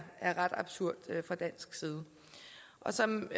ret absurd set fra dansk side som